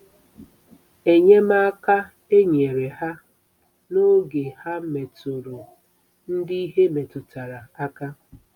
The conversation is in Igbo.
Enyemaka e nyere ha n'oge ha metụrụ ndị ihe metụtara aka.